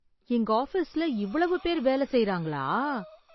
எங்க ஆபீஸ்ல இவ்வளவு பேர் வேலை செய்றாங்களா!